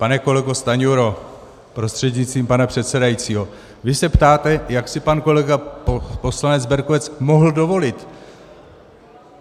Pane kolego Stanjuro prostřednictvím pana předsedajícího, vy se ptáte, jak si pan kolega poslanec Berkovec mohl dovolit.